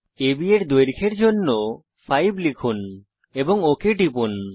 আব এর দৈর্ঘ্যের জন্য 5 লিখুন এবং ওক টিপুন